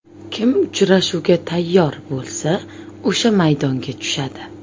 Kim uchrashuvga tayyor bo‘lsa o‘sha maydonga tushadi.